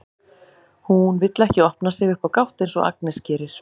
Hún vill ekki opna sig upp á gátt eins og Agnes gerir.